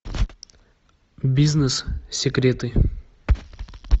бизнес секреты